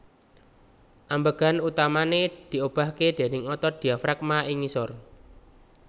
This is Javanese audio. Ambegan utamané diobahké déning otot diafragma ing ngisor